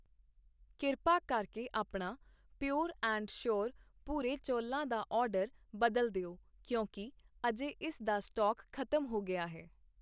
ਕਿਰਪਾ ਕਰਕੇ ਆਪਣਾ ਪ੍ਰਯੁਰ ਐਂਡ ਸੋਅਰ ਭੂਰੇ ਚੌਲਾਂ ਦਾ ਆਰਡਰ ਬਦਲ ਦਿਓ ਕਿਉਂਕਿ ਅਜੇ ਇਸ ਦਾ ਸਟਾਕ ਖ਼ਤਮ ਹੋ ਗਿਆ ਹੈ